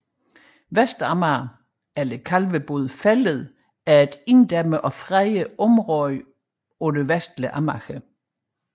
Vestamager eller Kalvebod Fælled er et inddæmmet og fredet område på det vestlige Amager